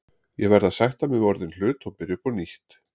Ég verð að sætta mig við orðinn hlut og byrja upp á nýtt.